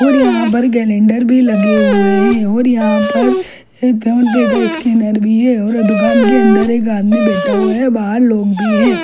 और यहाँ पर कैलेंडर भी लगे हुए है और यहाँ पर एक फ़ोन पे का स्कैनर भी है दुकान के अंदर आदमी बैठा हुआ है बाहर लोग भी है।